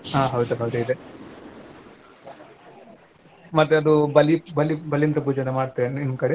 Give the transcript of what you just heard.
ಹಾ ಹೌದು ಹೌದು ಇದೆ ಮತ್ತೆ ಅದು ಬಲಿ~ ಬಲಿ~ ಬಲೀಂದ್ರ ಪೂಜೆ ಮಾಡ್ತೀರ ನಿಮ್ ಕಡೆ